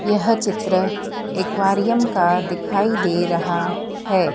यह चित्र एक्वेरियम का दिखाई दे रहा है।